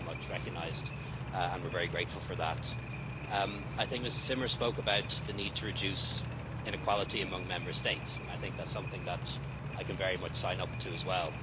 That's very much recognised, and we are very grateful for that. I think Ms Zimmer spoke about the need to reduce inequality among Member States, and I think that's something that I can very much sign up to as well.